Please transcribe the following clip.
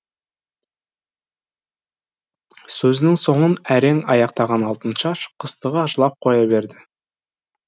сөзінің соңын әрең аяқтаған алтыншаш қыстыға жылап қоя берді